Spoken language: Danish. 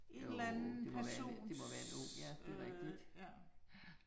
Jo, det må være det må være en ung ja det rigtigt ja